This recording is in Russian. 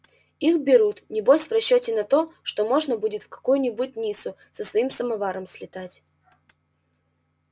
их берут небось в расчёте на то что можно будет в какую-нибудь ниццу со своим самоваром слетать